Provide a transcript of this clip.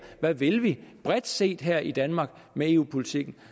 hvad vi vil bredt set her i danmark med eu politikken